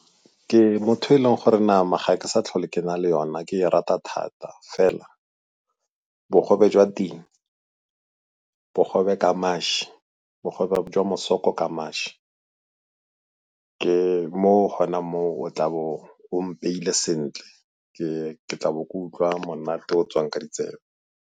Ke motho o e leng gore nama ga ke sa tlhole ke na le yona ke e rata thata fela bogobe jwa ting, bogobe ka mašwi, bogobe jwa mosoko ka mašwi. Ke mo gona mo o tla bo o mpeile sentle ke tlabe ke utlwa monate o o tswang ka ditsebe.